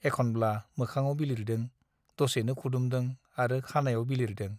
एखनब्ला मोखाङाव बिलिरदों , दसेनो खुदुमदों आरो खानाइयाव बिलिरदों ।